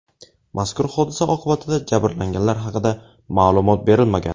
Mazkur hodisa oqibatida jabrlanganlar haqida ma’lumot berilmagan.